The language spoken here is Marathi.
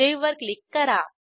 सावे वर क्लिक करा